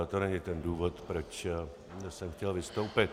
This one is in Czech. Ale to není ten důvod, proč jsem chtěl vystoupit.